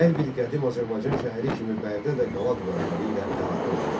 Hər bir qədim Azərbaycan şəhəri kimi Bərdə də qala divarları ilə əhatə olunmuşdu.